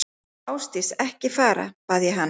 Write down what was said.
Ásdís, ekki fara, bað ég hana.